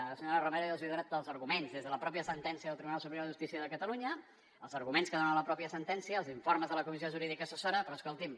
la senyora romero ja els ha donat tots els arguments des de la mateixa sentència del tribunal superior de justícia de catalunya els arguments que dona la mateixa sentència els informes de la comissió jurídica assessora però escolti’m